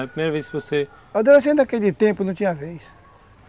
A primeira vez que você... Adolescente naquele tempo não tinha vez.